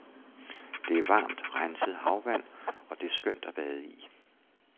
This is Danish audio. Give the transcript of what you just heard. Det er varmt, renset havvand, og det er skønt at bade i.